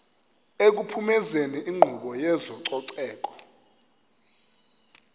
ekuphumezeni inkqubo yezococeko